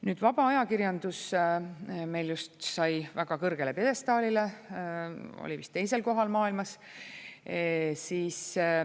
Nüüd, vaba ajakirjandus meil just sai väga kõrgele pjedestaalile, oli vist teisel kohal maailmas.